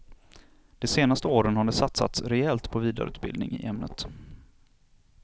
De senaste åren har det satsats rejält på vidareutbildning i ämnet.